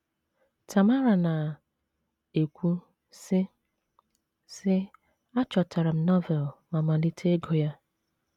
Tamara na - ekwu, sị sị: “ Achọtara m Novel ma malite ịgụ ya.